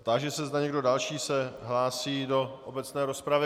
Táži se, zda někdo další se hlásí do obecné rozpravy.